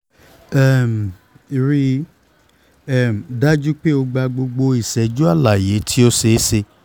um rii um daju pe o gba gbogbo iṣẹju alaye ti o ṣeeṣe